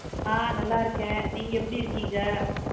ஆஹ் நல்லாருக்கேன். நீங்க எப்படி இருக்கீங்க?